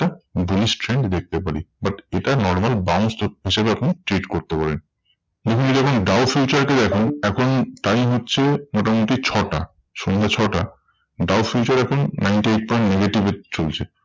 Bulish trend দেখতে পারি। but এটা normal bounce হিসেবে আপনি treat করতে পারেন। দেখুন যখন দাউ ফিউচার কে দেখাই এখন time হচ্ছে মোটামুটি ছটা সন্ধে ছটা। দাউ ফিউচার এখন ninety eight point negative এ চলছে।